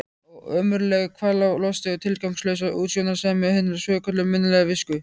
Ó, ömurlegi kvalalosti og tilgangslausa útsjónarsemi hinnar svokölluðu mannlegu visku.